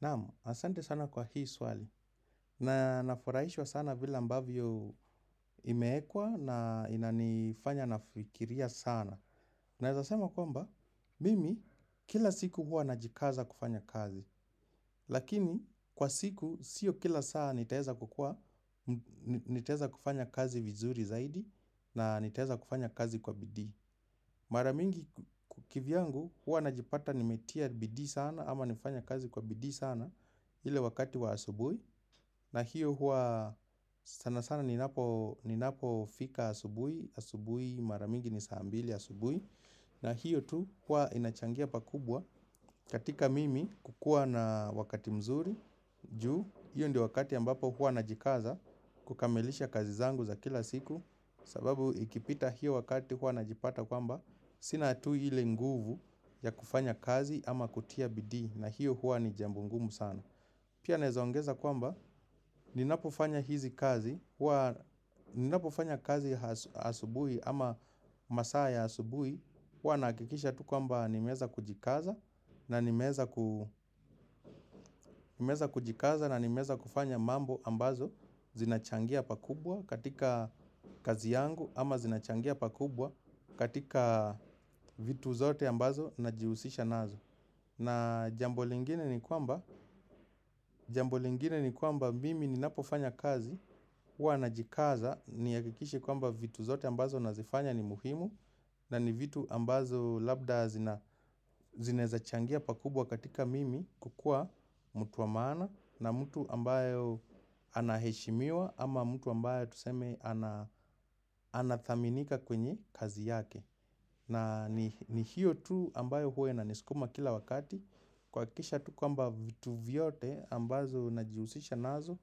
Naamu, asante sana kwa hii swali. Na nafuraishwa sana vila mbavyo imeekwa na ina nifanya nafikiria sana. Naezasema kwamba, mimi, kila siku hua najikaza kufanya kazi. Lakini kwa siku sio kila saa nitaeza kufanya kazi vizuri zaidi na nitaeza kufanya kazi kwa bidii. Maramingi kivyangu, hua najipata nimetia bidii sana, ama nifanya kazi kwa bidii sana. Ile wakati wa asubui na hiyo hua sana sana ni napo fika asubui. Asubui maramingi ni saambili asubui. Na hiyo tu hua inachangia pakubwa. Katika mimi kukua na wakati mzuri. Ju, hiyo ndio wakati ambapo hua najikaza. Kukamilisha kazi zangu za kila siku sababu ikipita hiyo wakati hua najipata sina tu hiyo nguvu na siwezi kiufanya kazi kwa bidii kwa hivo hiyo hua ni jambo ngumu sana. Pia nezoangeza kwamba ninapofanya hizi kazi, hua ninapofanya kazi asubui ama masaa ya asubui, hua nakikisha tu kwamba nimeza kujikaza na nimeza kujikaza na nimeza kufanya mambo ambazo zinachangia pakubwa katika kazi yangu ama zinachangia pakubwa katika vitu zote ambazo na jihusisha nazo. Na jambo lingine ni kwamba mimi ni napofanya kazi, hua najikaza, niakikishe kwamba vitu zote ambazo nazifanya ni muhimu, na ni vitu ambazo labda zinezachangia pakubwa katika mimi kukua mtu wa maana na mtu ambayo anaheshimiwa ama mtu ambayo tuseme anathaminika kwenye kazi yake. Na ni hiyo tu ambayo huwe na niskuma kila wakati kuwakikisha tu kwamba vitu vyote ambazo najiusisha nazo